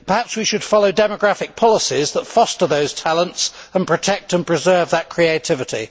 perhaps we should follow demographic policies that foster those talents and protect and preserve that creativity.